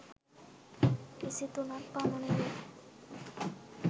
විසි තුනක් පමණ වේ.